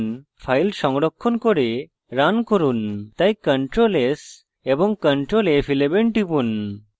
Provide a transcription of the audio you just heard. এখন file সংরক্ষণ করে run run তাই ctrl s এবং ctrl f11 টিপুন